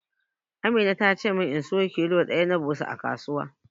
Amina ta ce min na siyo kilo ɗaya na ɓusa a kasuwa.